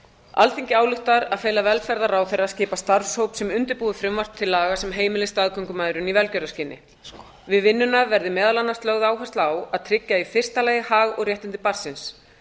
alþingi ályktar að fela velferðarráðherra að skipa starfshóp sem undirbúi frumvarp til laga sem heimili staðgöngumæðrun í velgjörðarskyni við vinnuna verði meðal annars lögð áhersla á að tryggja í fyrsta lagi hag og réttindi barnsins